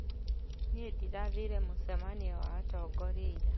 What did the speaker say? Nĩndĩrathire mũcemanio wa atongoria ira